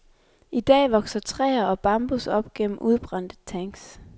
I dag vokser træer og bambus op gennem udbrændte tanks.